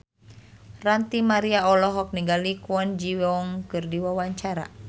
Ranty Maria olohok ningali Kwon Ji Yong keur diwawancara